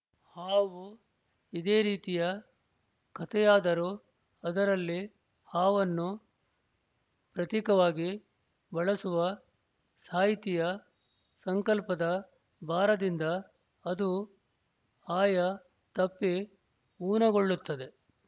ಹಾವು ಇದೇ ರೀತಿಯ ಕಥೆಯಾದರೂ ಅದರಲ್ಲಿ ಹಾವನ್ನು ಪ್ರತಿಕವಾಗಿ ಬಳಸುವ ಸಾಹಿತಿಯ ಸಂಕಲ್ಪದ ಭಾರದಿಂದ ಅದು ಆಯ ತಪ್ಪಿ ಊನಗೊಳ್ಳುತ್ತದೆ